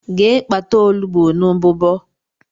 Gee kpata ọnụgbu n' mbụbo!!!!